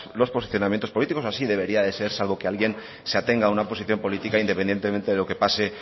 los posicionamientos políticos o así debería de ser salvo que alguien se atenga a una posición política independientemente de lo que pase